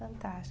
Fantástico.